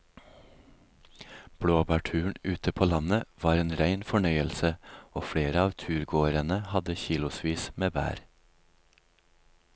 Blåbærturen ute på landet var en rein fornøyelse og flere av turgåerene hadde kilosvis med bær.